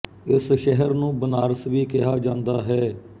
ਇਸ ਸ਼ਹਿਰ ਨੂੰ ਬਨਾਰਸ ਵੀ ਕਿਹਾ ਜਾਂਦਾ ਹੈ